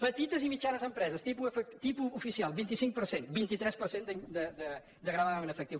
petites i mitjanes empreses tipus oficial vint cinc per cent vint tres per cent de gravamen efectiu